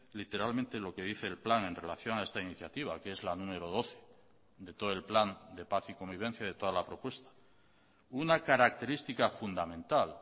literalmente lo que dice el plan en relación a esta iniciativa que es la número doce de todo el plan de paz y convivencia de toda la propuesta una característica fundamental